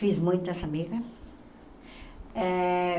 Fiz muitas amigas. Eh